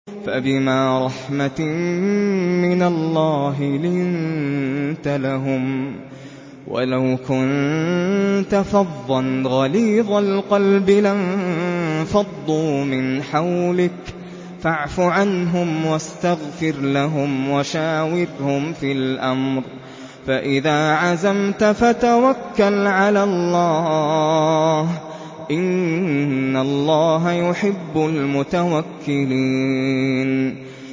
فَبِمَا رَحْمَةٍ مِّنَ اللَّهِ لِنتَ لَهُمْ ۖ وَلَوْ كُنتَ فَظًّا غَلِيظَ الْقَلْبِ لَانفَضُّوا مِنْ حَوْلِكَ ۖ فَاعْفُ عَنْهُمْ وَاسْتَغْفِرْ لَهُمْ وَشَاوِرْهُمْ فِي الْأَمْرِ ۖ فَإِذَا عَزَمْتَ فَتَوَكَّلْ عَلَى اللَّهِ ۚ إِنَّ اللَّهَ يُحِبُّ الْمُتَوَكِّلِينَ